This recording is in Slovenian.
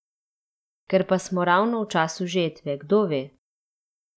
Ker pa smo ravno v času žetve, kdo ve?